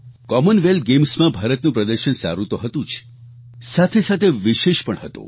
Commonwealth ગેમ્સમાં ભારતનું પ્રદર્શન સારું તો હતું જ સાથે સાથે વિશેષ પણ હતું